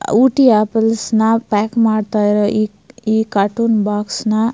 Ooty apples ನ pack ಮಾಡತ್ತಾ ಇರೋ ಈ ಈ ಕಾರ್ಟೂನ್ ಬಾಕ್ಸ್ ನ .--